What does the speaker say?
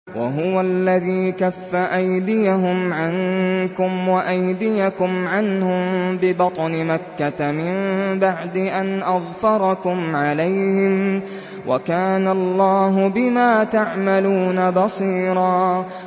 وَهُوَ الَّذِي كَفَّ أَيْدِيَهُمْ عَنكُمْ وَأَيْدِيَكُمْ عَنْهُم بِبَطْنِ مَكَّةَ مِن بَعْدِ أَنْ أَظْفَرَكُمْ عَلَيْهِمْ ۚ وَكَانَ اللَّهُ بِمَا تَعْمَلُونَ بَصِيرًا